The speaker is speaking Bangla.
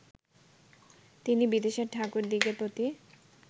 তিনি বিদেশের ঠাকুরদিগের প্রতি